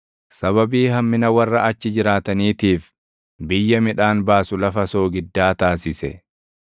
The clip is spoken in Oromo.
sababii hammina warra achi jiraataniitiif, biyya midhaan baasu lafa soogiddaa taasise.